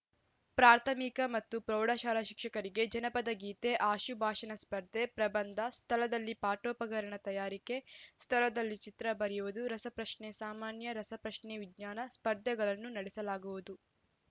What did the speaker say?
ಪ್ರಾಥಮಿಕ ಮತ್ತು ಪ್ರೌಢಶಾಲಾ ಶಿಕ್ಷಕರಿಗೆ ಜನಪದ ಗೀತೆ ಆಶುಭಾಷಣ ಸ್ಪರ್ಧೆ ಪ್ರಬಂಧ ಸ್ಥಳದಲ್ಲಿ ಪಾಠೋಪಕರಣ ತಯಾರಿಕೆ ಸ್ಥಳದಲ್ಲಿ ಚಿತ್ರ ಬರೆಯುವುದು ರಸಪ್ರಶ್ನೆ ಸಾಮಾನ್ಯ ರಸಪ್ರಶ್ನೆ ವಿಜ್ಞಾನಸ್ಪರ್ಧೆಗಳನ್ನು ನಡೆಸಲಾಗುವುದು